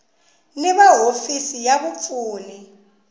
ni va hofisi ya vapfuni